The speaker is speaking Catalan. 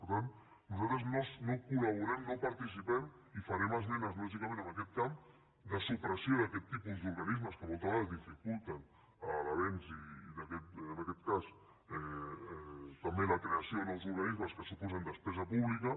per tant nosaltres no hi col·laborem no hi participem i farem esmenes lògicament en aquest camp de supressió d’aquests tipus d’organismes que moltes vegades dificulten l’avanç i en aquest cas també la creació de nous organismes que suposen despesa pública